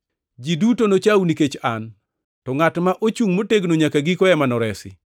Ji duto nochau nikech an, to ngʼat ma ochungʼ motegno nyaka giko ema noresi.